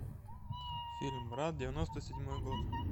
фильм брат девяносто седьмой год